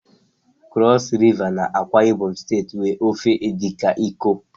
Cross River na AkwaIbom steeti nwe ofe Edikan Ikong